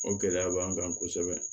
O gɛlɛya b'an kan kosɛbɛ